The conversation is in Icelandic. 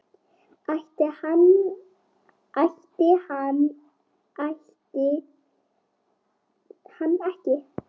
Ætti hann ætti hann ekki?